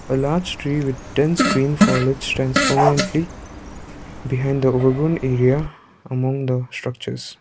a large tree with dense green foilage stands prominently behind the overgrown area among the structures.